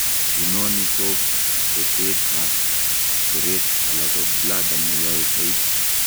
Inoni ko betet ab tereet ala ko bladder neyoe soiti